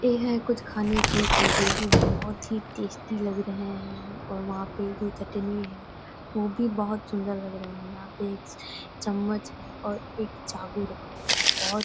यह है कुछ खाने की चीज़े जो बहुत ही टेस्टी लग रहे है और वहाँ पे जो चटनी है वो भी बहुत सुंदर लग रहे हैं यहाँ पे एक चम्मच है और एक चाकू रखा हुआ है बहुत --